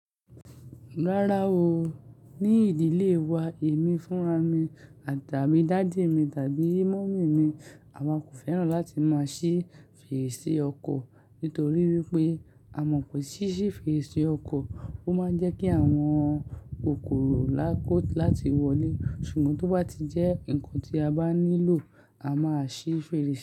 Rárá o, ní ìdílé wa èmi fúnra mi àtàmí dàddy mi tàbí mummy mi, àwa kò fẹ́ràn láti máa ṣí fèrèsé ọkọ̀ nítorí wípé a mọ̀ pé ṣí fèrèsé ọkọ̀, ó máa ń jẹ́ kí àwọn kòkòrò lákòó láti wọlé. Ṣùgbọ́n tó bá ti jẹ́ nǹkan tí a bá nílò, a máa ṣí fèrèsé.